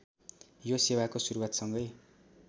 यो सेवाको सुरूवातसँगै